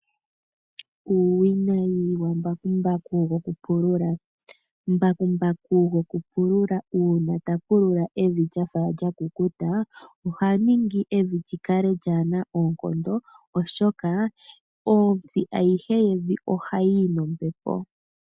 Uuwinayi wa mbakumbaku goku pulula. Mbakumbaku goku pulula uuna ta pulula evi lyafa lya kukuta, oha ningi evi lyi kale lyaana oonkondo, oshoka ontsi ayihe yevi oha yiyi nombepo.